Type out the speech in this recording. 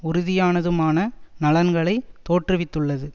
உறுதியானதுமான நலன்களை தோற்றுவித்துள்ளது